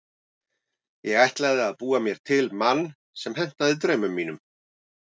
Ég ætlaði að búa mér til mann sem hentaði draumum mínum.